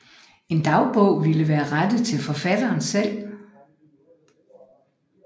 En dagbog ville være rettet til forfatteren selv